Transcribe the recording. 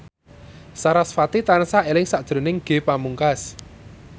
sarasvati tansah eling sakjroning Ge Pamungkas